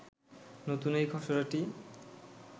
নতুন এই খসড়াটি